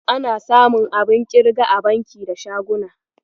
Ana samun abun ƙirga a banki da shaguna.